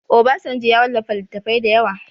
Obasanjo ya wallafa littattafai da yawa